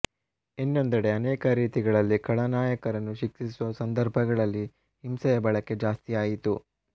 ಇನ್ನೊಂದೆಡೆ ಅನೇಕ ರೀತಿಗಳಲ್ಲಿ ಖಳನಾಯಕರನ್ನು ಶಿಕ್ಷಿಸುವ ಸಂದರ್ಭಗಳಲ್ಲಿ ಹಿಂಸೆಯ ಬಳಕೆ ಜಾಸ್ತಿಯಾಯಿತು